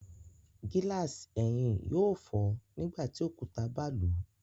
Gilasi ẹhin yóò fọ nígbàtí òkúta ba lu